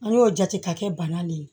An y'o jate ka kɛ bana de ye